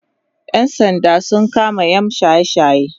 ƴan sanda sun kama yam shaye shaye